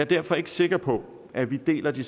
derfor ikke sikker på at vi deler den